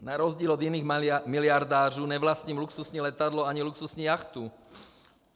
Na rozdíl od jiných miliardářů nevlastním luxusní letadlo ani luxusní jachtu.